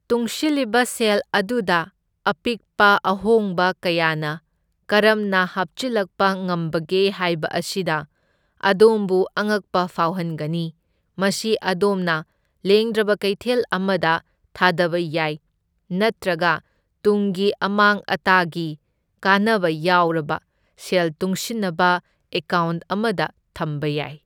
ꯇꯨꯡꯁꯤꯜꯂꯤꯕ ꯁꯦꯜ ꯑꯗꯨꯗ ꯑꯄꯤꯛꯄ ꯑꯍꯣꯡꯕ ꯀꯌꯥꯅ ꯀꯔꯝꯅ ꯍꯥꯞꯆꯤꯜꯂꯛꯄ ꯉꯝꯕꯒꯦ ꯍꯥꯏꯕ ꯑꯁꯤꯅ ꯑꯗꯣꯝꯕꯨ ꯑꯉꯛꯄ ꯐꯥꯎꯍꯟꯒꯅꯤ, ꯃꯁꯤ ꯑꯗꯣꯝꯅ ꯂꯦꯡꯗ꯭ꯔꯕ ꯀꯩꯊꯦꯜ ꯑꯃꯗ ꯊꯥꯗꯕ ꯌꯥꯏ ꯅꯠꯇ꯭ꯔꯒ ꯇꯨꯡꯒꯤ ꯑꯃꯥꯡ ꯑꯇꯥꯒꯤ ꯀꯥꯟꯅꯕ ꯌꯥꯎꯔꯕ ꯁꯦꯜ ꯇꯨꯡꯁꯤꯟꯅꯕ ꯑꯦꯀꯥꯎꯟꯠ ꯑꯃꯗ ꯊꯝꯕ ꯌꯥꯏ꯫